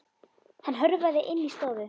Hann hörfaði inn í stofu.